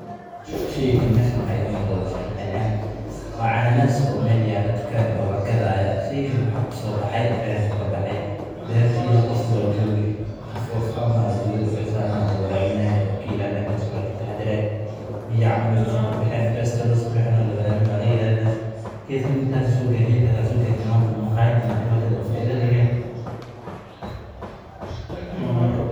Sheygan meeshan waxaa iiga muuqda waa cananasi oo lagadi haayo oo meel tukaan yaalo ninbaa soo abuure waa lagadi faida ayaa laga heli.